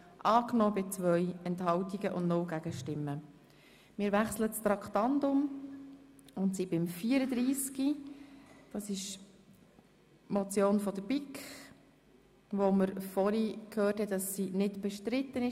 Wir kommen zur Motion der BiK «Kopplung der Kredite für den BFH-Campus Bern und den Campus TF in Burgdorf», wobei wir gehört haben, dass diese nicht bestritten ist.